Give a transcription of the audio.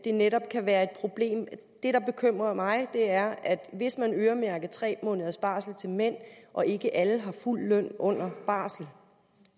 det netop kan være et problem det der bekymrer mig er at hvis man øremærker tre måneders barsel til mænd og ikke alle har fuld løn under barsel